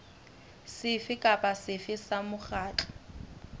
sefe kapa sefe sa mokgatlo